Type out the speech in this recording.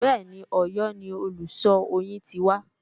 Bẹ́ẹ̀ni, Òyọ́ ni olùṣọ́ oyin ti wá